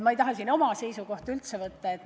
Ma ei taha siin oma seisukohta üldse võtta.